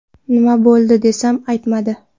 Nima bo‘ldi desam, aytmadi.